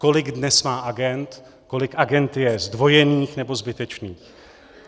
Kolik dnes má agend, kolik agend je zdvojených nebo zbytečných.